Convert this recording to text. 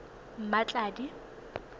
mmatladi